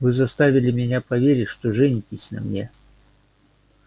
вы заставили меня поверить что женитесь на мне